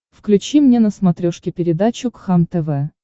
включи мне на смотрешке передачу кхлм тв